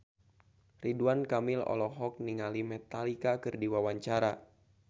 Ridwan Kamil olohok ningali Metallica keur diwawancara